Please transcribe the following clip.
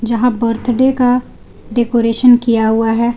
जहां बर्थडे का डेकोरेशन किया हुआ है।